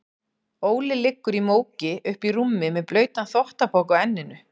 Óli liggur í móki uppí rúmi með blautan þvottapoka á enninu.